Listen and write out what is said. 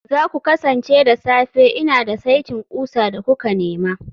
za ku kasance da safe, Ina da saitin ƙusa da kuka nema